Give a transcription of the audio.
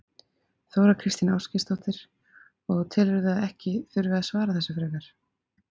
Þóra Kristín Ásgeirsdóttir: Og telurðu að ekki þurfi að svara þessu frekar?